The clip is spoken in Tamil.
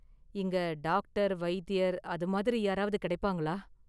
இங்க டாக்டர், வைத்தியர் அதுமாதிரி யாராவது கிடைப்பாங்களா?